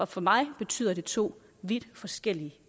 for mig betyder det to vidt forskellige